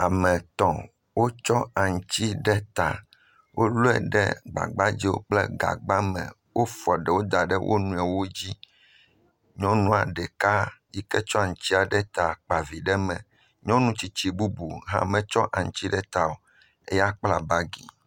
Ame etɔ̃ wotsɔ aŋuti ɖe ta, wolɔe ɖe gbagbadze kple gagba me, wofɔ ɖewo da ɖe wo nɔewo dzi, nyɔnu ɖeka yi ke tsɔ aŋuti ɖe ta kpa vi ɖe eme, nyɔnu bubu si metsɔ aŋuti ɖe ta o la, kpla bagi.